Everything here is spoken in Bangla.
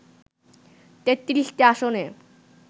৩৩টি আসনে